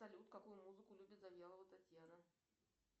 салют какую музыку любит завьялова татьяна